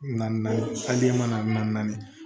Na naani naani naani